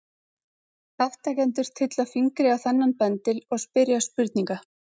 Þátttakendur tylla fingri á þennan bendil og spyrja spurninga.